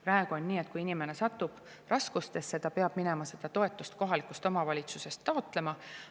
Praegu on nii, et kui inimene satub raskustesse, siis ta peab minema seda toetust kohalikust omavalitsusest taotlema.